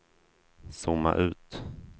zooma ut